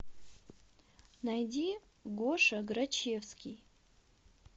найди гоша грачевский